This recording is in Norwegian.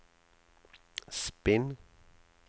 spinn